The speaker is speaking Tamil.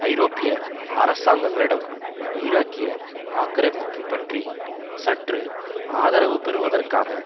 ஐரோப்பிய அரசாங்கங்களிடம் ஈராக்கிய ஆக்கிரமிப்பு பற்றி சற்று ஆதரவு பெறுவதற்காக